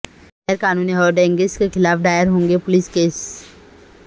غیرقانونی hoardings کے خلاف دائر ہوں گے پولس کیس